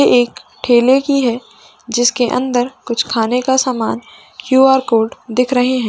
ये एक ढेले की है जिसके अंदर कुछ खाने का सामान क्यूआर कोड दिख रहे है।